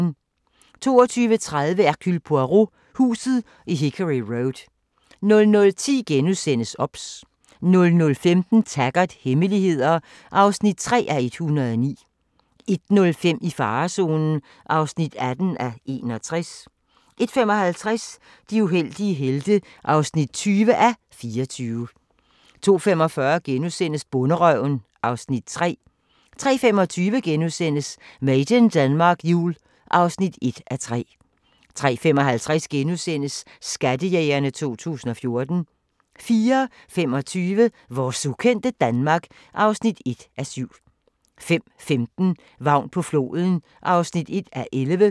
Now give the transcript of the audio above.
22:30: Hercule Poirot: Huset i Hickory Road 00:10: OBS * 00:15: Taggart: Hemmeligheder (3:109) 01:05: I farezonen (18:61) 01:55: De uheldige helte (20:24) 02:45: Bonderøven (Afs. 3)* 03:25: Made in Denmark Jul (1:3)* 03:55: Skattejægerne 2014 * 04:25: Vores ukendte Danmark (1:7) 05:15: Vagn på floden (1:11)